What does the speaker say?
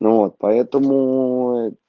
ну вот поэтому ээ